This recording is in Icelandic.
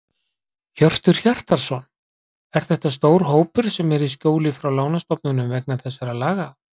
Hjörtur Hjartarson: Er þetta stór hópur sem er í skjóli frá lánastofnunum vegna þessara laga?